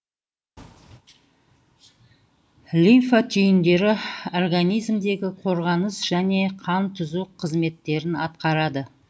лимфа түйіндері организмдегі қорғаныс және қантұзу қызметтерін атқарады